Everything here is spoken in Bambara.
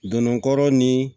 Don dɔ ni